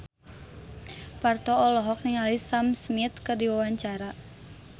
Parto olohok ningali Sam Smith keur diwawancara